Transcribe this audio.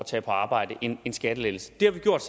tage på arbejde en skattelettelse det har vi gjort